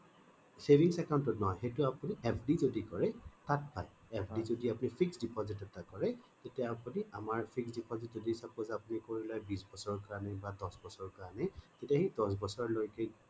savings account ত নহয় সেইটো আপুনি FD যদি কৰে তাত পাই FD যদি আপুনি fixed deposit এটা কৰে তেতয়া আপুনি আমাৰ fixed deposit যদি suppose আপুনি কৰি লয় বিছ বছৰৰ কাৰণে বা দশ বছৰৰ কাৰণে তেতিয়া সেই দশ বছৰ লৈকে